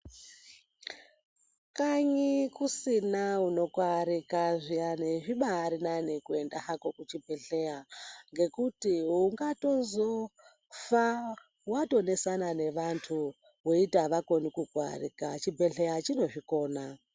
Kanyi kusina unokuarika zviyani zvibari nani kuyenda hako kuchibhedhleya nekuti ungazotofa watonesana nevantu weito avakoni kuku arika chibhedhleya chinozvikona.